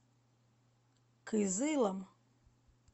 кызылом